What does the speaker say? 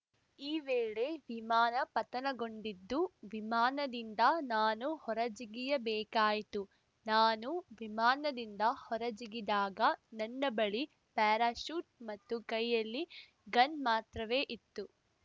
ಈ ವೇಳೆ ವಿಮಾನ ಪತನಗೊಂಡಿದ್ದು ವಿಮಾನದಿಂದ ನಾನು ಹೊರಜಿಗಿಯಬೇಕಾಯಿತು ನಾನು ವಿಮಾನದಿಂದ ಹೊರಜಿಗಿದಾಗನನ್ನ ಬಳಿ ಪ್ಯಾರಾಶೂಟ್‌ ಮತ್ತು ಕೈಯಲ್ಲಿ ಗನ್‌ ಮಾತ್ರವೇ ಇತ್ತು